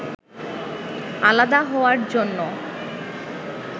আলাদা হওয়ার জন্য